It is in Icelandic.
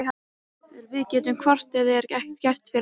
Við gætum hvort eð er ekkert gert fyrir hann.